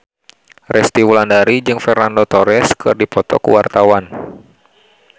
Resty Wulandari jeung Fernando Torres keur dipoto ku wartawan